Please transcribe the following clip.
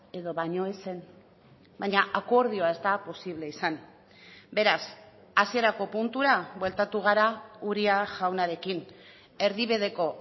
edo baino ez zen baina akordioa ez da posible izan beraz hasierako puntura bueltatu gara uria jaunarekin erdibideko